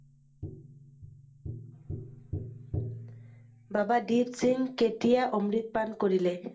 বাবা দিপসিং কেতিয়া অমৃত পান কৰিলে?